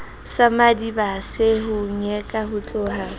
sa madibase mo nyeka hotloha